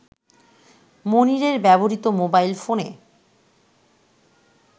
মনিরের ব্যবহৃত মোবাইল ফোনে